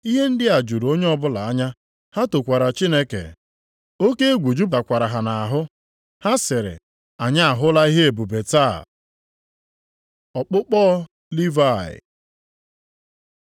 Ihe ndị a juru onye ọbụla anya, ha tokwara Chineke. Oke egwu jupụtakwara ha nʼahụ, ha sịrị, “Anyị ahụla ihe ebube taa.” Ọkpụkpọ Livayị